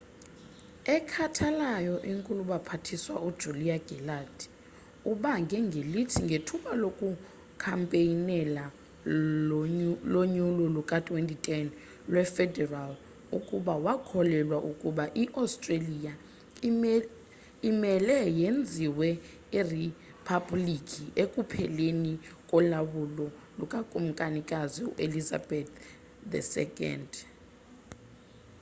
ekhathalayo inkulubaphathiswa u julia gillard ubange ngelithi ngethuba lokukhampeynela konyulo luka 2010 lwe federal ukuba wakholelwa ukuba i-australia imele yenziwe iriphablikhi ekupheleni kolawulo luka kumkanikazi u-elizabeth ii